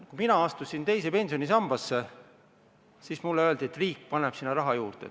Kui mina astusin teise pensionisambasse, siis mulle öeldi, et riik paneb sinna raha juurde.